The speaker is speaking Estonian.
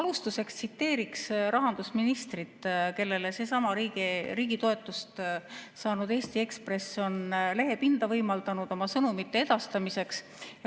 Ma alustuseks tsiteerin rahandusministrit, kellele seesama riigi toetust saanud Eesti Ekspress on võimaldanud lehepinda oma sõnumite edastamiseks.